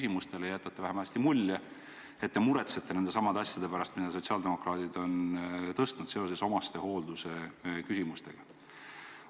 Te jätate vähemasti mulje, et muretsete nendesamade asjade pärast, mida sotsiaaldemokraadid on üles tõstnud seoses omastehoolduse küsimustega.